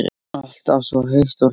Alltaf svo heit og hlý.